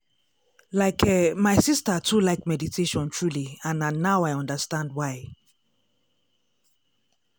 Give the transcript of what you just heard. like eh my sister too like meditation truely and na now i understand why.